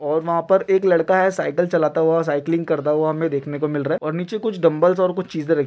और वहां पर एक लड़का है साइकिल चलाता हुआ साइकलिंग करता हुआ हमें देखने को मिल रहा है और नीचे कुछ डंबलस और कुछ चीजे र--